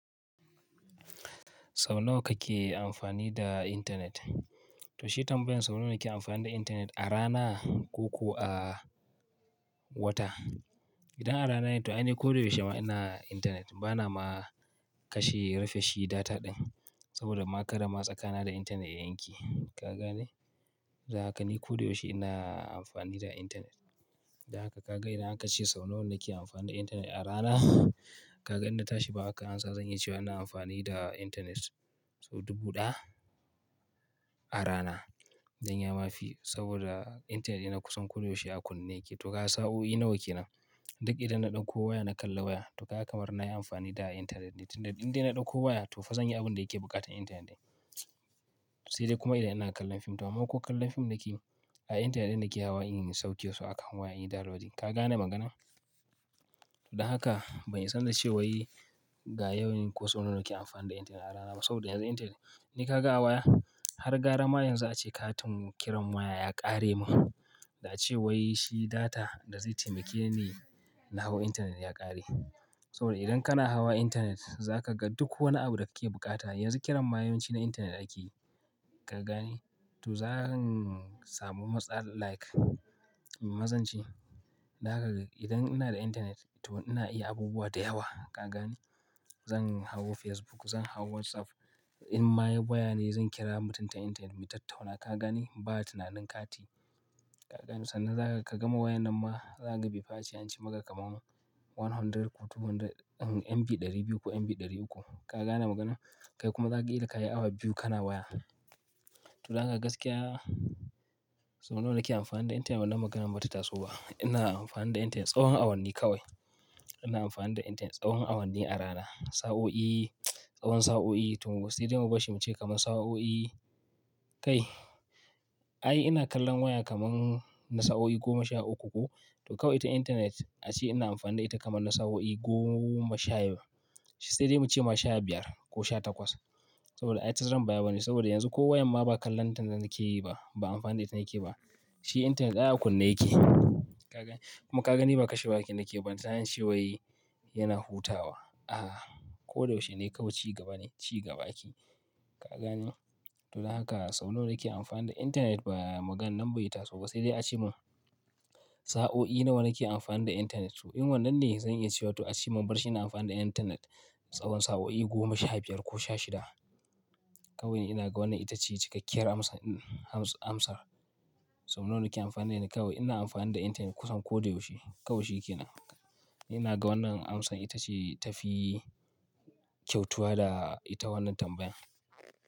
Sau nawa kake amfani da intanet? To shi tambayan sau nawa kake amfani da intanet a rana ko ko a wata? Idan a rana ne to ai ni ko da yaushe muna intanet bana ma kashe rufe shi data ɗin saboda ma kara ma tsakana da intanet yayanke ka gane? Za kaga ni ko da yaushe ina amfani da intanet. Da haka ka ga idan aka ce sau nawa nake amfani da intanet a rana ka ga idan na tashi baya haka an sa zanyi cewa ina amfani da intanet sau dubu ɗaya a rana. Dan ma yafi saboda intanet yana kusan ko da yaushe a kunne yake. To ka sa'o'i nawa kenan? Duk idan ina ɗauko waya na kalla waya to ka kamar nayi amfani da intanet ne tun da idan ina ɗauko waya to fa zanyi abun da yake buƙatan intanet ne. Sai dai kuma idan ina kallon fim to amma ko kallon fim nake a intanet nake hawa in yi sauke su akan waya in yi downloading ka gane maganan? Dan haka ban isa nace wai ga yawwan ko sau nawa nake amfani da internet a rana ba, saboda yanzu internet ni kaga a waya har gara ma yanzu ake katin kira ya ƙare mun da a ce wai shi data da zai taimake ni na hau intanet ya ƙare. Saboda idan kana hawa intanet za ka ga duk wani abu da kake buƙata yanzu kiran mayanci na intanet ake ka gane? To za ran samu matsala like mazanci. Dan haka idan ina da intanet to ina iya abubuwa da yawa ka gane? Zan hau Facebook, zan hau WhatsApp. In ma waya ne zan kira mutum ta intanet mu tattauna ka gane? Ba tinanin kati ka gani? Sannan za ka gama wayan nan ma za ka bi fa a ce an ci maka kamar one hundred ko two hundred, MB ɗari biyu ko MB ɗari uku ka gane maganan? Kai kuma kaga killa kayi awa biyu kana waya. To dab haka gaskiya sau nawa nake amfani da intanet wannan maganan bata taso ba. Ina amfani da intanet tsawon awanni kawai. Ina amfani da intanet tsawon awanni a rana. Sa'o'i tsawon sa'o'i to sai dai mubar shi kaman sa'o'i, kai ai ina kallon waya kaman na sa'o'i goma sha uku ko, to kawai ita internet ace ina amfani da ita kaman na sa'o'i goma sha sai dai muce sha biyar ko sha takwas saboda ai ta zaran baya bane saboda yanzu ko wayan ma ba kallon tantance yake yi ba ba amfani da ita nake ba. Shi intanet ai a kunne yake ka gane? Kuma ka gani ba kashe waya nake ba balantana nace wai yana hutawa. Ah, ko dayaushe ne kawai cigaba ne cigaba ake, ka gane to dan haka sau nawa nake amfani da intanet ba maganan bai taso ba sai dai a ce mun sa'o'i nawa nake amfani da intanet. To in wannan ne zan iya cewa to a ce mun bar shi ina amfani da intanet tsawon sa'o'i goma sha biyar ko sha shida. Kawai ina ga wannan itace cikakkiyar amsar. Sau nawa nake amfani da ita kawai ina amfani da intanet kusan ko da yaushe kawai shi kenan. Ina ga wannan amsar itace tafi kyautuwa da ita wannan tambayan.